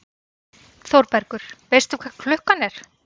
ÞÓRBERGUR: Veistu hvað klukkan er?